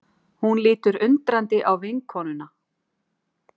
Hún lítur undrandi á vinkonuna.